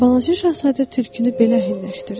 Balaca şahzadə tülkünü belə əhəlləşdirdi.